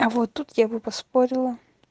а вот тут я бы поспорила